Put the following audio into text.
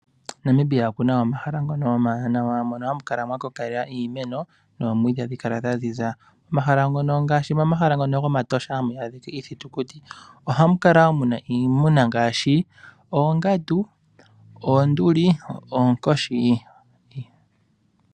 Namibia oku na omahala omawanawa mono hamu kala mwa kokela iimeno nomwiidhi ogu kala gwa ziza, ngaashi momahala ngono gomatosha hamu adhika iithitukuti ohamu kala woo mu na iimuna ngaashi oongandu, oonduli, noonkoshi.